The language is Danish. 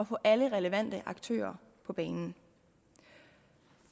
få alle relevante aktører på banen